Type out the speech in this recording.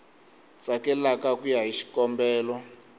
tsakelaka ku ya hi xikombelo